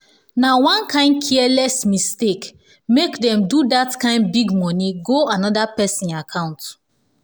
na one kain careless mistake make them do that kain big money go another person account.